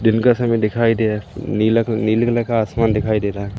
दिन का समय दिखाई दे रहा है नीले कलर नीले कलर का आसमान दिखाई दे रहा है।